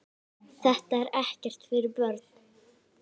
Þetta er ekkert fyrir börn!